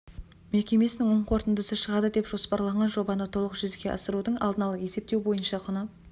мекемесінің оң қорытындысы шығады деп жоспарланған жобаны толық жүзеге асырудың алдын ала есептеу бойынша құны